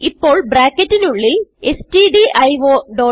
ഇപ്പോൾ ബ്രാക്കറ്റിനുള്ളിൽ സ്റ്റ്ഡിയോ